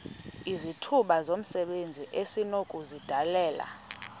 izithuba zomsebenzi esinokuzidalela